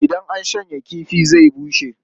Idan an shanya kifi zai bushe.